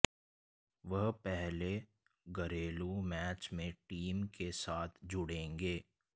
वह पहले घरेलू मैच में टीम के साथ जुड़ेंगे